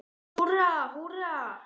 Húrra, húrra!